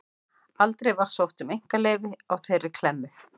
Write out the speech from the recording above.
Aldrei var sótt um einkaleyfi á þeirri klemmu.